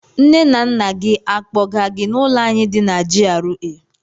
Nne na nna gị akpọga gị n'ụlọ anyị di na GRA?